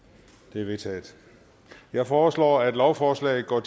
de er vedtaget jeg foreslår at lovforslaget går